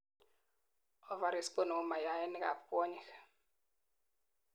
ovaries konemu mayainik ab kwonyik